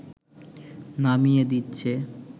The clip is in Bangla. নামিয়ে দিচ্ছে